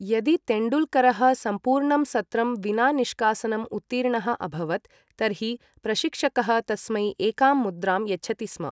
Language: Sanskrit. यदि तेण्डुल्करः सम्पूर्णं सत्रं विना निष्कासनम् उत्तीर्णः अभवत्, तर्हि प्रशिक्षकः तस्मै एकां मुद्राम् यच्छति स्म।